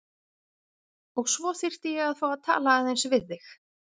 Og svo þyrfti ég að fá að tala aðeins við þig.